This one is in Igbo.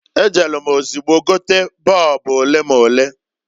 E jelu m ozugbo gote boobu olemole.